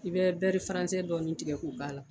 I bɛ dɔɔnin tigɛ k'o k'a la